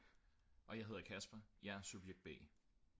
og jeg hedder Kasper og jeg er subjekt b